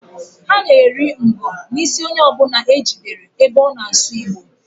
Ha na-eri ngo n'isi onye ọbụna e jidere ebe ọ na asụ Igbo.